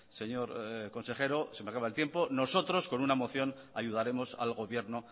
señor consejero se me acaba el tiempo nosotros con una moción ayudaremos al gobierno